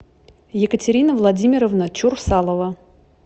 екатерина владимировна чурсалова